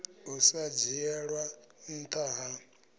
u sa dzhielwa ntha ha